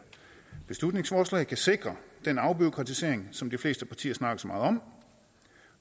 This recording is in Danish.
beslutningsforslag kan sikre den afbureaukratisering som de fleste partier snakker så meget om